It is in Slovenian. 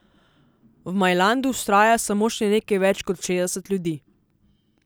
V Majlandu vztraja samo še nekaj več kot šestdeset ljudi.